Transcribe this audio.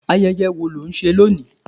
Ayẹyẹ wo ni ó ń ṣe lónìí